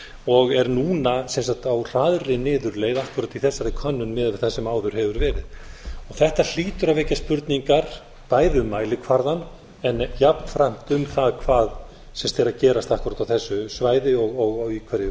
og er núna á hraðri niðurleið akkúrat í þessari könnun miðað við það sem áður hefur verð þetta hlýtur að vekja spurningar bæði um mælikvarðann en jafnframt um það hvað er að gerast akkúrat á þessu svæði og í hverju